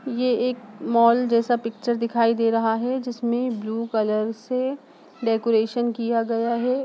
ये एक मॉल जैसा पिक्चर दिखाई दे रहा है जिसमें ब्लू कलर से डेकोरेशन किया गया है।